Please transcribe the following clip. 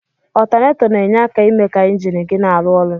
Ọtọnator na enye aka ime ka enjin gi na alụ ọlụ.